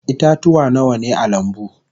Ita-tuwa Nawa ne a lambu?